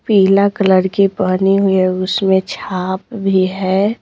पीला कलर की पहनी हुई है उसमें छाप भी है।